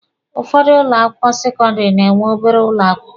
Ụfọdụ ụlọ akwụkwọ sekọndịrị na-enwe obere ụlọ akwụkwọ